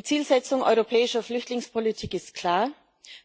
Die Zielsetzung europäischer Flüchtlingspolitik ist klar